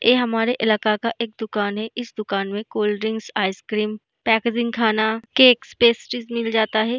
ये हमारे इलाका का एक दुकान है इस दुकान में कोल्ड ड्रिंकस आइसक्रीम पैकेजिंग खाना केक्स पेस्ट्रीस मिल जाता है।